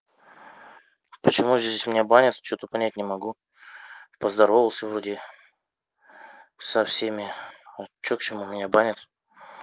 почему здесь у меня банят что-то понять не могу поздоровался вроде со всеми что к чему меня банят